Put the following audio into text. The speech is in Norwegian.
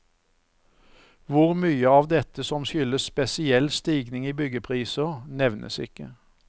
Hvor mye av dette som skyldes spesiell stigning i byggepriser, nevnes ikke.